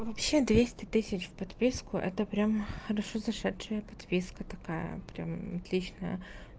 вообще двести тысяч в подписку это прям хорошо зашедшая подписка такая прям отличная